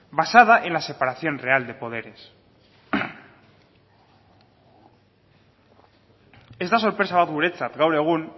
basada en la separación real de poderes ez da sorpresa bat guretzat gaur egun